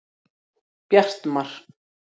Bjartmar